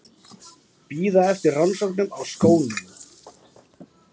Bíða eftir rannsóknum á skónum